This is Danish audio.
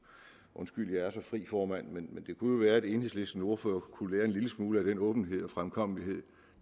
undskyld jeg er så fri formand men det kunne jo være at enhedslistens ordfører kunne lære en lille smule af den åbenhed og fremkommelighed